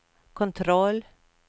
kontroll